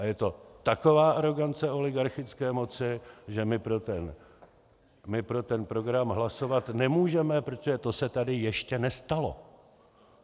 A je to taková arogance oligarchické moci, že my pro ten program hlasovat nemůžeme, protože to se tady ještě nestalo.